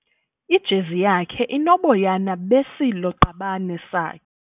Ijezi yakhe inoboyana besilo-qabane sakhe.